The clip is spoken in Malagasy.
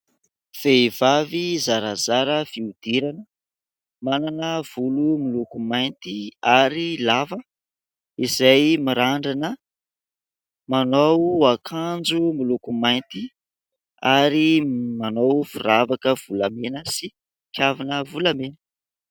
Vehivavy zarazara fiodirana manana volo miloko mainty ary lava. Izay mirandrana manao ankajo miloko mainty. Ary manao firavaka volamena ary kavina volamena.